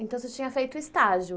Então, você tinha feito estágio.